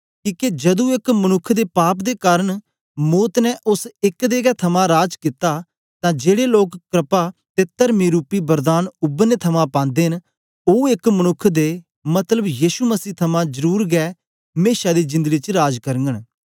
किके जदू एक मनुक्ख दे पाप दे कारन मौत ने ओस एक दे गै थमां राज कित्ता तां जेड़े लोक क्रपा ते तरमी रूपी वरदान उबरने थमां पांदे न ओ एक मनुक्ख दे मतलब यीशु मसीह थमां जरुर गै मेशा दी जेंदडी च राज करगन